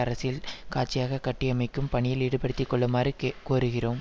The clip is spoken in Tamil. அரசியல் காட்சியாக கட்டியமைக்கும் பணியில் ஈடுபடுத்தி கொள்ளுமாறு கே கோருகிறோம்